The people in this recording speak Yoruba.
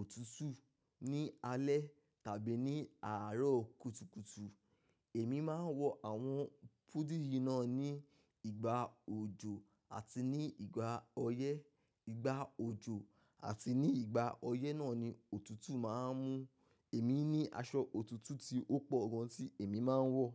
òtútù, ní alẹ́ tàbí ní àárọ̀ kùtùkùtù. Èmi máa ń wọ àwọn hoodie yìí náà ní ìgbà òjò àti ní ìgbà ọyẹ́. Ìgbà òjò àti ní ìgbà ọyẹ́ náà ni òtútù máa ń mú. Èmi ní aṣọ òtútù tí ó pọ̀ gan tí èmi máa ń wọ̀